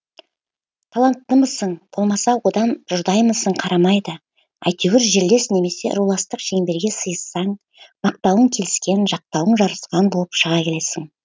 таланттымысың болмаса одан жұрдаймысың қарамайды әйтеуір жерлес немесе руластық шеңберге сыйыссаң мақтауың келіскен жақтауың жарасқан болып шыға келесің